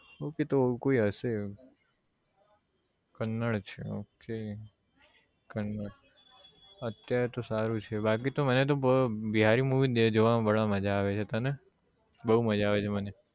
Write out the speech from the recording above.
Okay તો કોઈ હશે કનડ છે okay કનડ અત્યારે તો સારું છે બાકી તો મને તો બ બિહારી movie જોવામાં બડા આવે છે તને બહુ મજા આવે છે મને